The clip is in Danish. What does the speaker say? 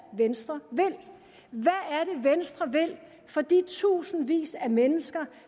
venstre vil for de tusindvis af mennesker